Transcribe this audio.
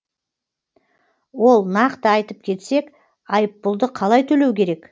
ол нақты айтып кетсек айыппұлды қалай төлеу керек